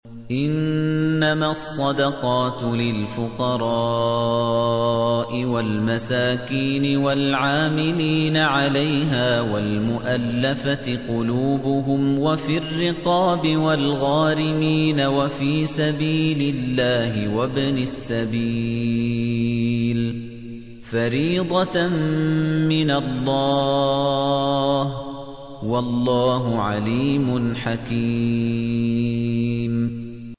۞ إِنَّمَا الصَّدَقَاتُ لِلْفُقَرَاءِ وَالْمَسَاكِينِ وَالْعَامِلِينَ عَلَيْهَا وَالْمُؤَلَّفَةِ قُلُوبُهُمْ وَفِي الرِّقَابِ وَالْغَارِمِينَ وَفِي سَبِيلِ اللَّهِ وَابْنِ السَّبِيلِ ۖ فَرِيضَةً مِّنَ اللَّهِ ۗ وَاللَّهُ عَلِيمٌ حَكِيمٌ